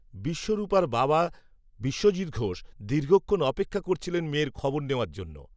বিশ্বরূপার বাবা বিশ্বজিত্ ঘোষ, দীর্ঘক্ষণ অপেক্ষা করছিলেন, মেয়ের খবর নেওয়ার জন্য